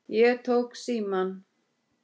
Ég tók símann.